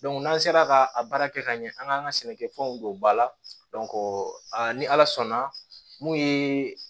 n'an sera ka a baara kɛ ka ɲɛ an k'an ka sɛnɛkɛfɛnw don ba la ni ala sɔnna mun ye